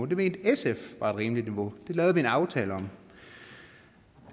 det mente sf var et rimeligt niveau det lavede vi en aftale om